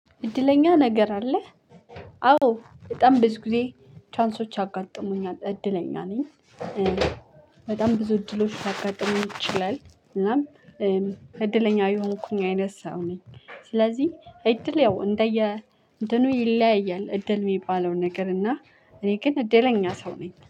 እድለኛ ነገር አለ። አዎ በጣም ብዙ ጊዜ ቻንሶች ያጋጥሙኛል እድለኛ ነኝ። በጣም ብዙ እድሎች ሊያጋጥም ይችላል። እናም እድለኛ የሆንኩኝ አይነት ሰው ነኝ። ስለዚህ እድል ያው እንደየ እንትኑ ይለያያል እድል የሚባለው ነገር እና እኔ ግን እደለኛ ሰው ነኝ